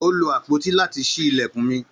Ó lo àpótí láti ṣí ilẹ̀kùn mi.